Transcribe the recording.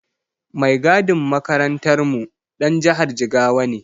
Mai gadin makarantarmu ɗan jihar Jigawa ne.